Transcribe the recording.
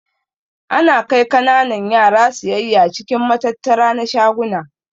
Ana kai kananan yara siyayya cikin matattara na shaguna.